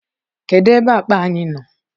kedụ ebe akpa anyi no?